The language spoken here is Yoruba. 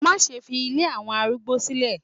Má ṣe fi ilé àwọn arúgbó sílẹ̀